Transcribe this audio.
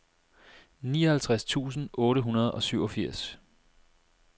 nioghalvtreds tusind otte hundrede og syvogfirs